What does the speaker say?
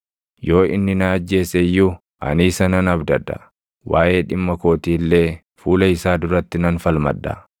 Yoo inni na ajjeese iyyuu ani isa nan abdadha; waaʼee dhimma kootii illee fuula isaa duratti nan falmadha.